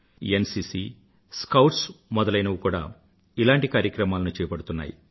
NCC scouts మొదలైనవి కూడా ఇలాంటి పనులు చేపడుతున్నాయి